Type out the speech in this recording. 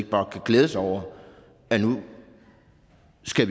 bare kan glæde sig over at vi nu